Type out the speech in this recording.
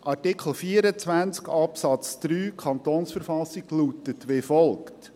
Artikel 24 Absatz 3 KV lautet wie folgt: